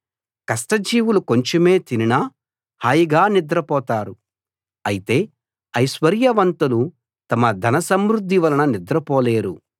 కష్టజీవులు కొంచెమే తినినా హాయిగా నిద్ర పోతారు అయితే ఐశ్వర్యవంతులు తమ ధనసమృధ్థి వలన నిద్రపోలేరు